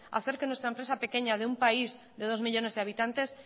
hacer que nuestra empresa pequeña de un país de dos millónes de habitantes